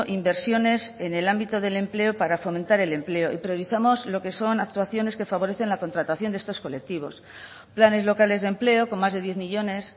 inversiones en el ámbito del empleo para fomentar el empleo y priorizamos lo que son actuaciones que favorecen la contratación de estos colectivos planes locales de empleo con más de diez millónes